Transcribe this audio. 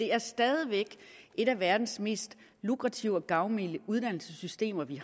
har stadig væk et af verdens mest lukrative og gavmilde uddannelsessystemer